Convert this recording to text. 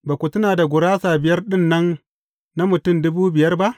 Ba ku tuna da gurasa biyar ɗin nan na mutum dubu biyar ba?